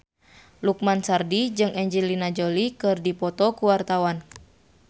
Lukman Sardi jeung Angelina Jolie keur dipoto ku wartawan